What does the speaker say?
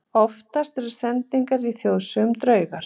Oftast eru sendingar í þjóðsögum draugar.